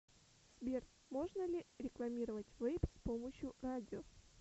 сбер можно ли рекламировать вэйп с помощью радио